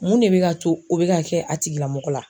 Mun de bɛ ka to o bɛ ka kɛ a tigilamɔgɔ la.